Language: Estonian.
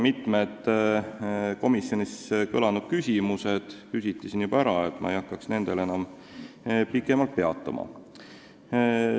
Mitmed komisjonis kõlanud küsimused kõlasid täna ka siin, ma ei hakka nendel enam pikemalt peatuma.